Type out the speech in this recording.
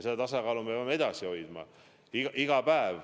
Seda tasakaalu me peame edasi hoidma iga päev.